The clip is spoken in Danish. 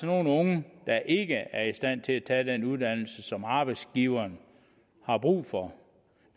nogle unge der ikke er i stand til at tage den uddannelse som arbejdsgiverne har brug for